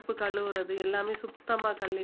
பருப்பு கழுவுறது எல்லாமே சுத்தமா கழு~